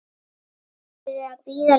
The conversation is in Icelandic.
Þau eru að bíða líka.